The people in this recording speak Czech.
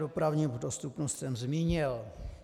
Dopravní dostupnost jsem zmínil.